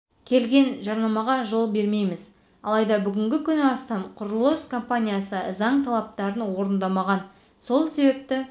келген жарнамаға жол бермейміз алайда бүгінгі күні астам құрылыс компаниясы заң талаптарын орындамаған сол себепті